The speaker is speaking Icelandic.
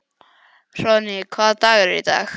Hróðný, hvaða dagur er í dag?